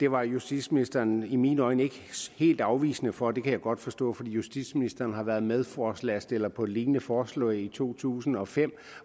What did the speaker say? var justitsministeren i mine øjne ikke helt afvisende over for det kan jeg godt forstå for justitsministeren har været medforslagsstiller på et lignende forslag i to tusind og fem